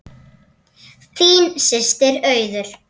Þín systir Auður.